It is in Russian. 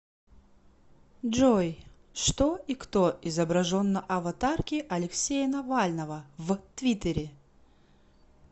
джой что и кто изображен на аватарке алексея навального в твиттере